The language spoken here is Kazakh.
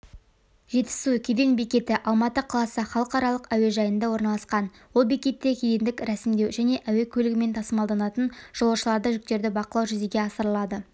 жетісу кеден бекеті алматы қаласы халықаралық әуежайында орналасқан ол бекетте кедендік рәсімдеу және әуе көлігімен тасымалданатын жолаушыларды жүктерді бақылау жүзеге асырылады